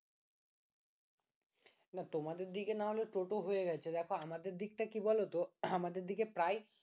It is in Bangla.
না তোমাদের দিকে না হলে টোটো হয়ে গেছে দেখো আমাদের দিকটা কি বলতো আমাদের দিকে প্রায়